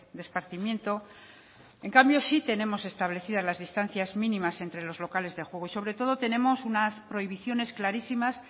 de esparcimiento en cambio sí tenemos establecidas las distancias mínimas entre los locales de juego y sobre todo tenemos unas prohibiciones clarísimas